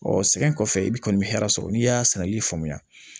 sɛgɛn kɔfɛ i bɛ kɔni bɛ hɛrɛ sɔrɔ n'i y'a sɛnɛ i faamuya